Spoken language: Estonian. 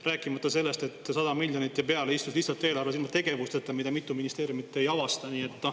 Rääkimata sellest, et 100 miljonit ja peale istub lihtsalt eelarves tegevusteta, aga mitu ministeeriumi seda ei avasta.